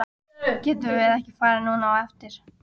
Getum við ekki farið núna á eftir?